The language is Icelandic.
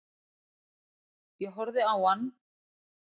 Ég horfði á hann.